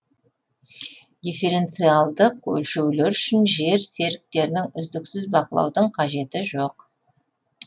дифференциялдық өлшеулер үшін жер серіктерін үздіксіз бақылаудың қажеті жоқ